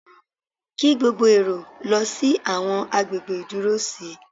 Kí gbogbo èrò lọ sí àwọn agbègbè ìdúró sí.